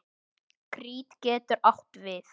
Krít getur átt við